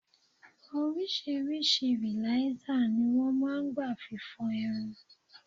Oríṣiríṣi rìlásér ni wọn máa ń gba fi fọ irun.